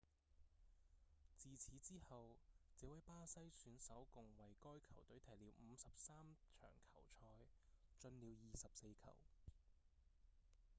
自此之後這位巴西選手共為該球隊踢了53場球賽進了24球